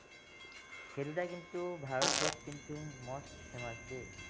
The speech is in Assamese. সেই দুটা কিন্তু ভাৰতত কিন্তু most famous দেই